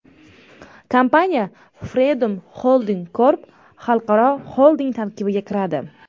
Kompaniya Freedom Holding Corp xalqaro xolding tarkibiga kiradi.